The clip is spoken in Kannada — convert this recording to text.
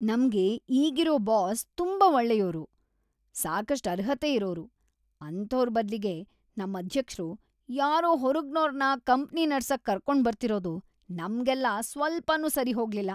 ನಮ್ಗೆ ಈಗಿರೋ ಬಾಸ್‌ ತುಂಬಾ ಒಳ್ಳೆಯೋರು, ಸಾಕಷ್ಟ್‌ ಅರ್ಹತೆ ಇರೋರು. ಅಂಥೋರ್ ಬದ್ಲಿಗೆ ನಮ್‌ ಅಧ್ಯಕ್ಷ್ರು ಯಾರೋ ಹೊರಗ್ನೋರ್ನ ಕಂಪ್ನಿ ನಡ್ಸಕ್‌ ಕರ್ಕೊಂಡ್ಬರ್ತಿರೋದು ನಮ್ಗೆಲ್ಲ ಸ್ವಲ್ಪನೂ ಸರಿಹೋಗ್ಲಿಲ್ಲ.